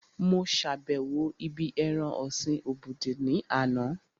Mo sàbẹ̀wo ibí ẹran ọ̀sin obudu ní àná